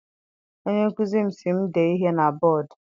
Onye nkụzi m si m dee ihe na bọdu.